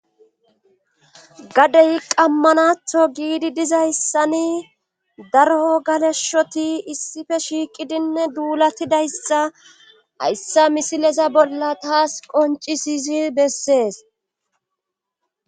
Gadey qammanatho giidi diza yssani daro galeshshoti issife shiiqidinne duulatidayssa hayssa misileza bolla taas qoncisisi bessees.